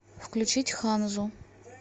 включить ханзу